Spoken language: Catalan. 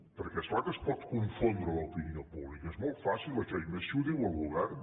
perquè és clar que es pot confondre l’opinió pública és molt fàcil això i més si ho diu el govern